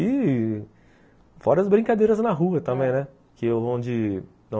E fora as brincadeiras na rua também, onde